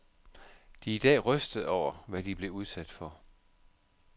De er i dag rystede over, hvad de blev udsat for.